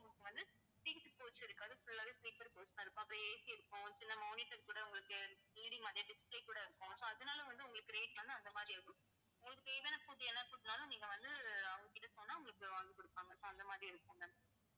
உங்களுக்கு வந்து seat coach இருக்காது full ஆவே sleeper coach தான் இருக்கும் அப்புறம் AC இருக்கும் சில monitors கூட உங்களுக்கு display கூட இருக்கும் so அதனால வந்து உங்களுக்கு rate வந்து அந்த மாதிரி இருக்கும். உங்களுக்கு தேவையான food என்ன food னாலும், நீங்க வந்து அவங்ககிட்ட சொன்னா உங்களுக்கு வாங்கி கொடுப்பாங்க. so அந்த மாதிரி இருக்கும் ma'am